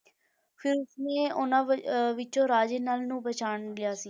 ਫਿਰ ਉਸਨੇ ਉਹਨਾਂ ਵ~ ਅਹ ਵਿੱਚੋਂ ਰਾਜੇ ਨਲ ਨੂੰ ਪਛਾਣ ਲਿਆ ਸੀ,